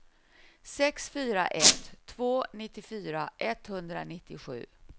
sex fyra ett två nittiofyra etthundranittiosju